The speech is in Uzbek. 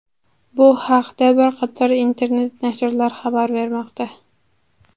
Bu haqda bir qator internet-nashrlar xabar bermoqda.